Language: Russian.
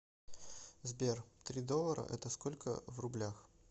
сбер три доллара это сколько в рублях